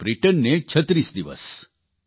અને બ્રિટનને 36 દિવસ